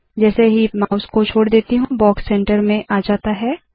जैसे ही माउस को छोड़ देती हूँ बॉक्स सेंटर में आ जाता है